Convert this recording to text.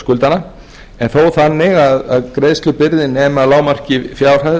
skuldara en þó þannig að greiðslubyrði nemi að hámarki fjárhæð